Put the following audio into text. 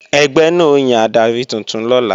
Ẹgbẹ́ náà ó yan adarí tuntun lọ́la